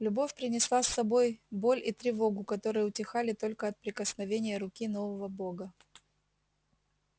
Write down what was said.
любовь принесла с собой боль и тревогу которые утихали только от прикосновения руки нового бога